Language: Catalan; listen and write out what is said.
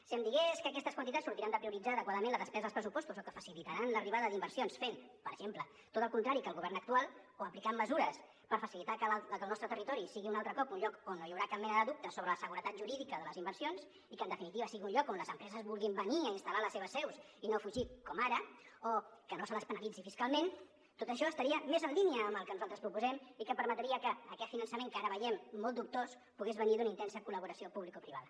si em digués que aquestes quantitats sortiran de prioritzar adequadament la despesa als pressupostos o que facilitaran l’arribada d’inversions fent per exemple tot el contrari que el govern actual o aplicant mesures per facilitar que el nostre territori sigui un altre cop un lloc on no hi haurà cap mena de dubte sobre la seguretat jurídica de les inversions i que en definitiva sigui un lloc on les empreses vulguin venir a instal·lar les seves seus i no fugir com ara o que no se les penalitzi fiscalment tot això estaria més en línia amb el que nosaltres proposem i permetria que aquest finançament que ara veiem molt dubtós pogués venir d’una intensa col·laboració publicoprivada